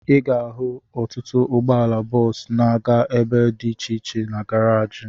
Ị ga-ahụ ọtụtụ ụgbọala bọọsu na-aga ebe dị iche iche na garaji